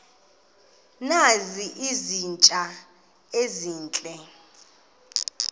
nazi izitya ezihle